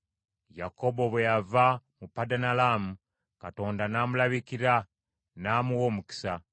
Yakobo bwe yava mu Padanalaamu Katonda n’amulabikira, n’amuwa omukisa.